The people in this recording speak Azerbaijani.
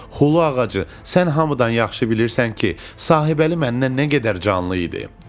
Hulu ağacı, sən hamıdan yaxşı bilirsən ki, Sahibəli məndən nə qədər canlı idi.